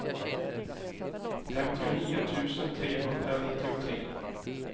femtionio tusen trehundranittiotre